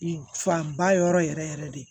Fanba yɔrɔ yɛrɛ yɛrɛ de